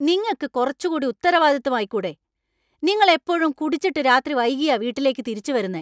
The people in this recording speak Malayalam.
നിങ്ങക്ക് കുറച്ചുകൂടി ഉത്തരാവാദിത്വം ആയിക്കൂടെ ? നിങ്ങൾ എപ്പോഴും കുടിച്ചിട്ട് രാത്രി വൈകിയാ വീട്ടിലേക്ക് തിരിച്ചു വരുന്നേ .